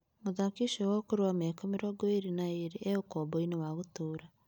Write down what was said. Mũthaki ũcio wa ũkuru wa mĩaka mĩrongo ĩrĩ na ĩrĩ e ũkomboinĩ wa gũtũũra.